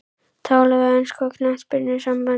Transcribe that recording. Tala við enska knattspyrnusambandið?